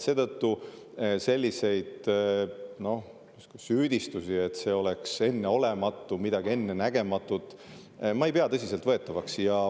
Seetõttu selliseid süüdistusi, et see oleks enneolematu, midagi ennenägematut, ma ei pea tõsiselt võetavaks.